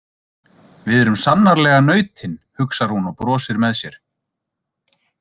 Við erum sannarlega nautin, hugsar hún og brosir með sér.